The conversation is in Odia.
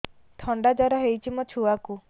ଥଣ୍ଡା ଜର ହେଇଚି ମୋ ଛୁଆକୁ